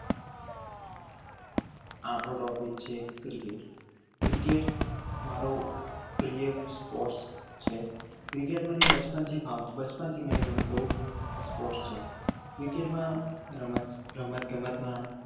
આપણો topic છે cricket. cricket મારો પ્રિય sports છે cricket મને બચપણ થી બચપણ થી ફાવતો બચપણથી ગમતો sports છે. cricket માં રમત ગમત ના